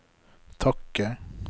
takke